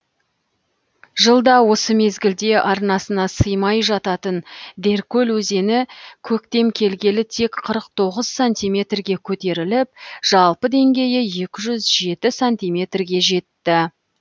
жылда осы мезгілде арнасына сыймай жататын деркөл өзені көктем келгелі тек қырық тоғыз сантиметрге көтеріліп жалпы деңгейі екі жүз жеті сантиметрге жетті